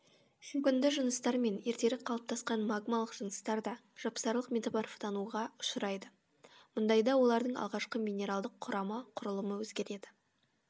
шөгінді жыныстар мен ертерек қалыптасқан магмалық жыныстар да жапсарлық метаморфтануға ұшырайды мұндайда олардың алғашқы минералдық құрамы құрылымы өзгереді